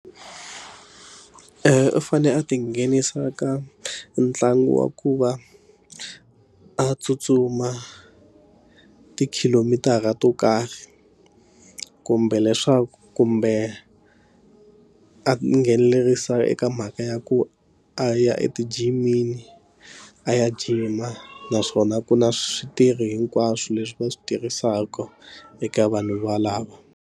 U fanele a ti nghenisa ka ntlangu wa ku va a tsutsuma tikhilomitara to karhi kumbe leswaku kumbe a a nghenelerisa eka mhaka ya ku a ya etijimini a ya gym a naswona ku na switirhi hinkwaswo leswi va swi tirhisaka eka vanhu valavo.